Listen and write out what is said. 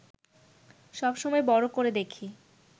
সবমসময় বড় করে দেখি